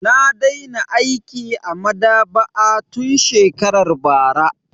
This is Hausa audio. Na daina aiki a maɗaba'a tun shekarar bara.